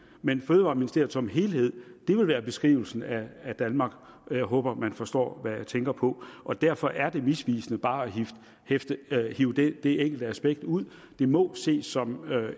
mens fødevareministeriet som helhed vil være beskrivelsen af danmark jeg håber man forstår hvad jeg tænker på og derfor er det misvisende bare at hive det det enkelte aspekt ud det må ses som